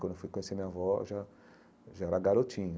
Quando eu fui conhecer minha avó, eu já eu já era garotinho.